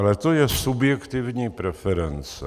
Ale to je subjektivní preference.